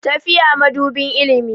Tafiya madubin ilimi.